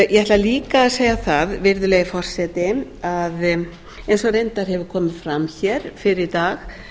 ég ætla líka að segja það virðulegi forseti eins og reyndar hefur komið fram hér fyrr í dag